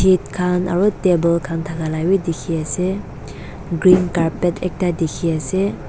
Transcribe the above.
et khan aro table khan thaka la bi dikhiase green carpet ekta dikhiase.